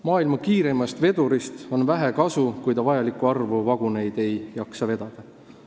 Maailma kiireimast vedurist on vähe kasu, kui ta ei jaksa vajalikku arvu vaguneid vedada.